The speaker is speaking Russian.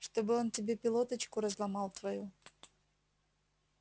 чтобы он тебе пилоточку разломал твою